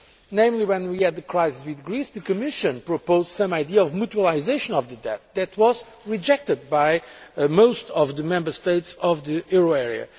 namely, when we had the crisis with Greece, the Commission proposed some idea of mutualisation of the debt, which was rejected by most of the Member States in the euro area.